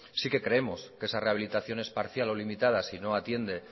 sí que creemos que esa rehabilitación es parcial o limitada si no atiende